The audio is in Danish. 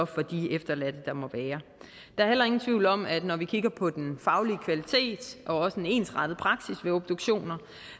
for de efterladte der er heller ingen tvivl om at når vi kigger på den faglige kvalitet og også en ensrettet praksis ved obduktioner